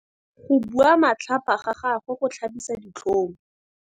Go bua matlhapa ga gagwe go tlhabisa ditlhong.